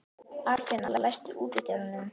Arnfinna, læstu útidyrunum.